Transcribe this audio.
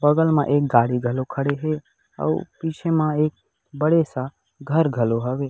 बगल म एक गाड़ी घलो खड़े हे अऊ पीछे म एक बड़े सा घर घलो हवे।